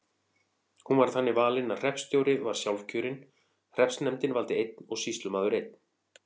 Hún var þannig valin að hreppstjóri var sjálfkjörinn, hreppsnefndin valdi einn og sýslumaður einn.